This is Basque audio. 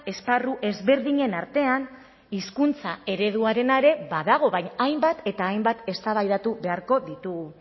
esparru ezberdinen artean hizkuntza ereduarena ere badago baina hainbat eta hainbat eztabaidatu beharko ditugu